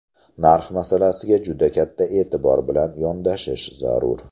Narx masalasiga juda katta e’tibor bilan yondashish zarur.